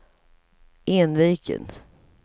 Enviken